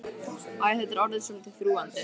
Æ, þetta er orðið svolítið þrúgandi.